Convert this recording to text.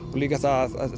líka að